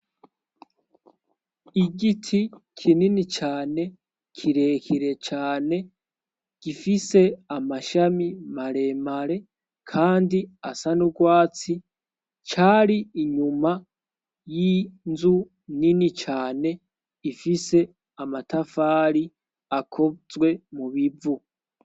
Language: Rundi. igiti kinini cane kirekire cane gifise amashami maremare kandi asanurwatsi cari inyuma y'inzu nini cane ifise amatafari akozwe mubivu